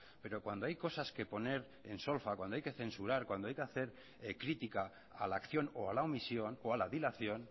pero cuando hay cosas que poner en solfa cuando hay censurar cuando hay que hacer crítica a la acción o a la omisión o a la dilación